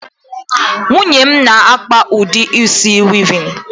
Nwunye m na-akpa udi isi wịịvịn.